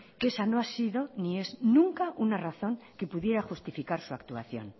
que esa no ha sido ni es nunca una razón que pudiera justificar su actuación